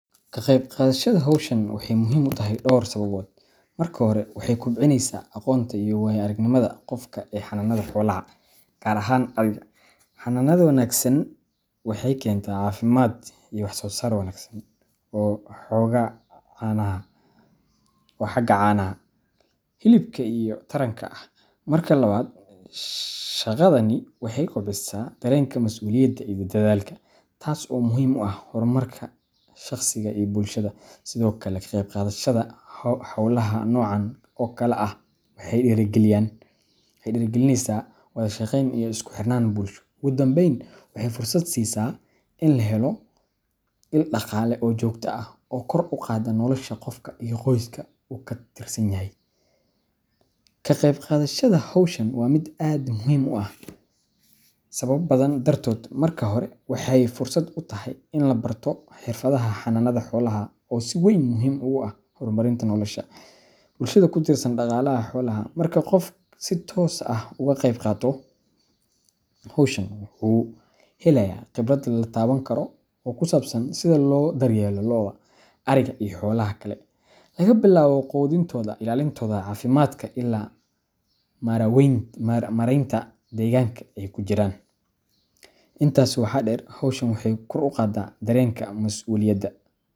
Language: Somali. Ka qayb qadashada xowshaan, waxay muxiim utaxay dor sababoot, marka xore, waxay kobcineysa aqoonta iyo waya aragnimada gofka ee xananada xowlaxa, gaar axan ariga, xananada wanagsan waxay kenta cafimad iyo wax sosaar wanagsan, oo xogaa canaxa wa xagaa canaxa, xilibka iyo taranka ah, marka lawad shagadani waxay kobcisa darenka masuliyada iyo daadalka, taas o muxiim u ah, xormarka shagsiga iyo bulshada, Sidhokale ka qeby qadashada xoola nocan o kala ah, waxay diya galiyaan, waxay dira galineysa wadashaqeyn iyo iskuxirnan bulsho, ogudanbeyn waxay fursad sisaa in laxelo in daqaala oo jogta ah oo kor ugada nolosha gofka, iyo goyska karitsanyaxa, ka qeeb qadashada xowshan, wa mid aad muxiim u ah, sawab badan dartot, marka xore, waxay fursat u taxay in labarto xirfadaha xananada xoolaxa, oo si weyn muxiim ogu ah xormarinta nolosha, bulshada kutirsan daqalaxa xoolaxha, marki oo gof si toos ah oguqebgato xowshaan uuxelaya qiibrad latawankaro, oo kusabsan sidha lo daryelo looda, ariga iyo xoolaha kale, lagabilawo qudintoda, ilalintoda cafimadka ila mareynta deqanka ay kudaxjiraan, intas waxa deer xowshaan waxay kor ugadaa daryelka masuliyada.